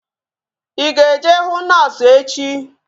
Ị ga-eje hụ noosu echi?